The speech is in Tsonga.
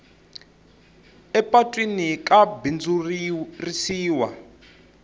emapatwini ka bindzurisiwa